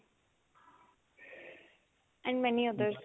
and many other